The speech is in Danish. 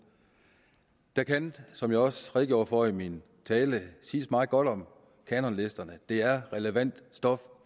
der kan som jeg også redegjorde for i min tale siges meget godt om kanonlisterne det er relevant stof